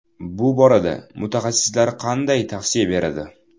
Bu borada mutaxassislar qanday tavsiya beradi?